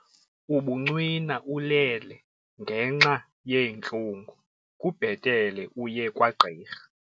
Ubuncwina ulele ngenxa yeentlungu kubhetele uye kwagqirha.